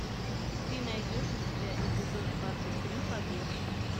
ты найдешь у себя эпизод двадцать три побег